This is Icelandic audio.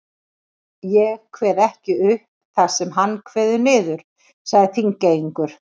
Ég kveð ekki upp það sem hann kveður niður, sagði Þingeyingur.